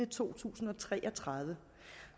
to tusind og tre og tredive